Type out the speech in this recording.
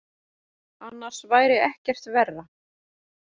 Annars væri ekkert verra.